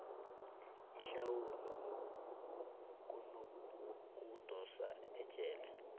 ihlawulo kunokudosa ejele